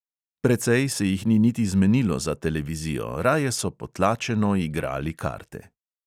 Precej se jih ni niti zmenilo za televizijo, raje so potlačeno igrali karte.